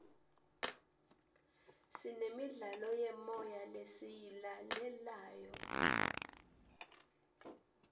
sinemidlalo yemoya lesiyilalelayo